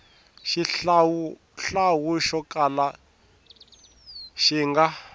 xihlawuhlawu xo kala xi nga